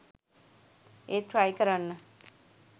ඒත් ට්‍රයි කරන්න